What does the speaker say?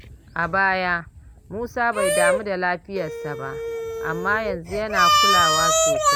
A baya, Musa bai damu da lafiyarsa ba, amma yanzu yana kulawa sosai.